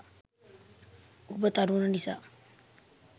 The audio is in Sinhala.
ඔබ තරුණ නිසා